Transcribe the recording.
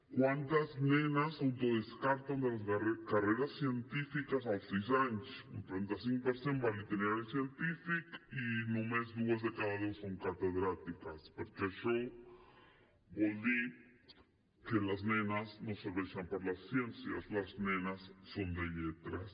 quantes nenes s’autodescarten de les carreres científiques als sis anys un trenta cinc per cent va a l’itinerari científic i només dues de cada deu són catedràtiques perquè això vol dir que les nenes no serveixen per les ciències les nenes són de lletres